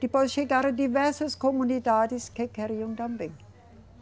Depois chegaram diversas comunidades que queriam também.